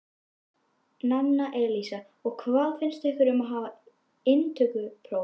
Nanna Elísa: Og hvað finnst ykkur um að hafa inntökupróf?